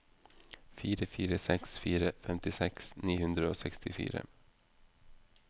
fire fire seks fire femtiseks ni hundre og sekstifire